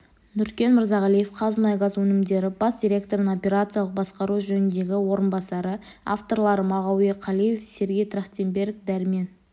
нүркен мырзағалиев қазмұнайгаз өнімдері бас директорының операциялық басқару жөніндегі орынбасары авторлары мағауия қалиев сергей трахтенберг дәрмен